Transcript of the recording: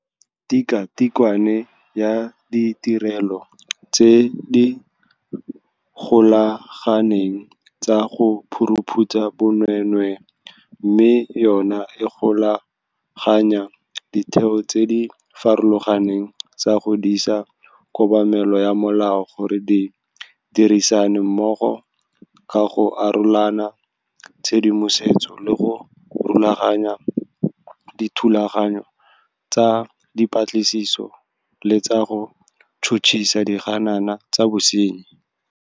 Tikwatikwe ya Ditirelo tse di Golaganeng tsa go Phuruphutsha Bonweenwee, mme yona e golaganya ditheo tse di farologaneng tsa go disa kobamelo ya molao gore di dirisane mmogo ka go arolelana tshedimosetso le go rulaganya dithulaganyo tsa dipatlisiso le tsa go tšhotšhisa diganana tsa bosenyi.